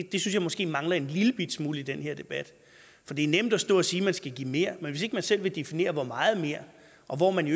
jeg måske mangler en lillebitte smule i den her debat for det er nemt at stå og sige at man skal give mere men hvis man ikke selv vil definere hvor meget mere og hvor man i